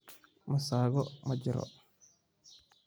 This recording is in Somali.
Masago ma jiro.